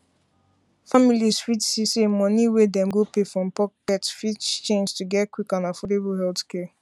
families fit see say money wey dem go pay from pocket fit change to get quick and affordable healthcare